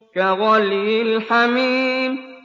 كَغَلْيِ الْحَمِيمِ